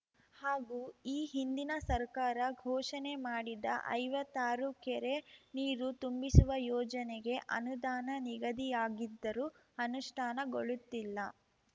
ಹಾಗೂ ಈ ಹಿಂದಿನ ಸರ್ಕಾರ ಘೋಷಣೆ ಮಾಡಿದ ಐವತ್ತಾರು ಕೆರೆ ನೀರು ತುಂಬಿಸುವ ಯೋಜನೆಗೆ ಅನುದಾನ ನಿಗಧಿಯಾಗಿದ್ದರೂ ಅನುಷ್ಠಾನಗೊಳ್ಳುತ್ತಿಲ್ಲ